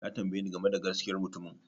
Ya tambaye ni game da gaskiyar mutumin